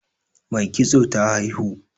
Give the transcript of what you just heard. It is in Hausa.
Mai kitso ta haihu